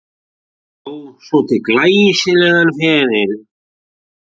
Bjó svo til glæsilegan feril.